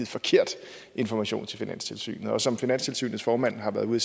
forkert information til finanstilsynet som finanstilsynets formand har været ude